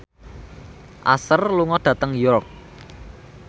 Usher lunga dhateng York